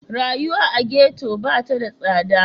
Rayuwa a ghetto ba ta da tsada.